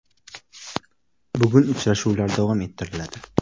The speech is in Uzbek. Bugun uchrashuvlar davom ettiriladi.